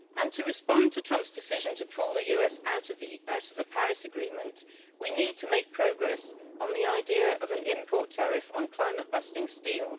To respond to Trump's decision to pull the US out of the Paris Agreement, we need to make progress on the idea of an import tariff on climate busting steel.